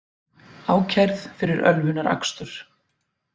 Ákærð fyrir ölvunarakstur